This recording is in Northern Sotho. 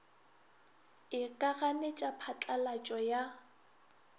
e ka ganetša phatlalatšo ya